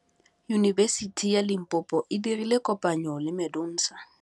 Yunibesiti ya Limpopo e dirile kopanyô le MEDUNSA.